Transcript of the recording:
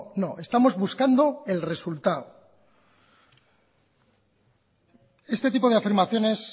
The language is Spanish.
no estamos buscando el resultado este tipo de afirmaciones